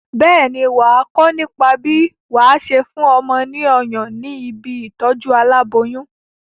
Bẹ́ẹ̀ ni, wà á kọ́ nípa bí wà á ṣe fún ọmọ ní ọyàn ní ibi ìtọ́jú aláboyún.